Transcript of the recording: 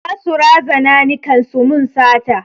Za su razana ni kan su mun sata